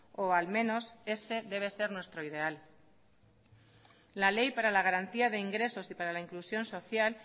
o al menos ese debe ser nuestro ideal la ley para la garantía de ingresos y para la inclusión social